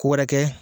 Ko wɛrɛ kɛ